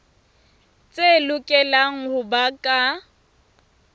tse lokelang ho ba ka